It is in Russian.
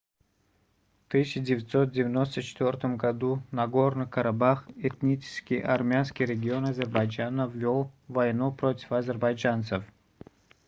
в 1994 году нагорный карабах этнически армянский регион азербайджана вёл войну против азербайджанцев